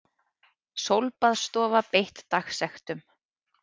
Sólbaðsstofa beitt dagsektum